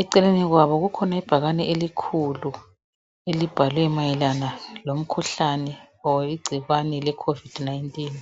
eceleni kwabo kukhona ibhakani elikhulu elibhalwe mayelana lomkhuhlane kumbe ingcikwane lecovid 19